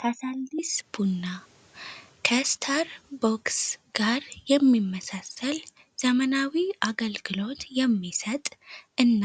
ካሳንዲስ ቡና ከስታር ቦክስ ጋር የሚመሳሰል ዘመናዊ አገልክሎት የሚሰጥ እና